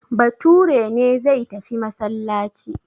Bature ne zai tafi masallaci.